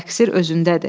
Təqsir özündədir.